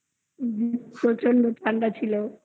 প্রচন্ড ঠান্ডা ছিল